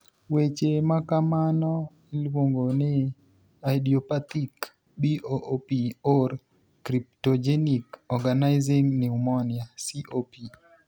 Weche makamano iluong'o ni idiopathic BOOP or cryptogenic organizing pneumonia (COP).